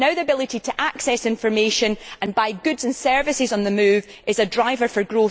Now, the ability to access information and buy goods and services on the move is a driver for growth.